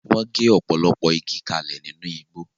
Wọ́n gé ọ̀pọ̀lọpọ̀ igi kalẹ̀ nínú igbó.